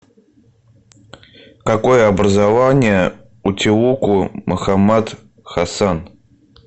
какое образование у теуку мухаммад хасан